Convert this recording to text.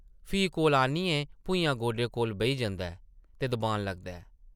फ्ही कोल आनियै भुञां गोडे कोल बेही जंदा ऐ ते दबान लगदा ऐ ।